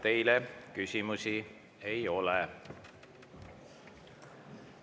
Teile küsimusi ei ole.